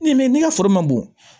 Ni n'i ka foro ma bon